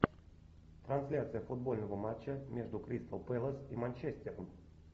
трансляция футбольного матча между кристал пэлас и манчестером